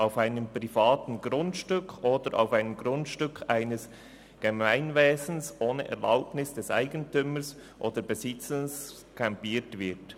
«auf einem privaten Grundstück oder auf einem Grundstück eines Gemeinwesens ohne Erlaubnis des Eigentümers oder des Besitzers campiert wird.